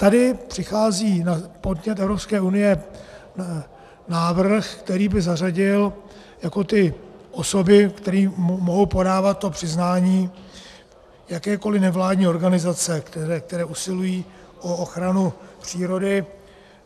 Tady přichází na podnět Evropské unie návrh, který by zařadil jako ty osoby, které mohou podávat to podání, jakékoli nevládní organizace, které usilují o ochranu přírody.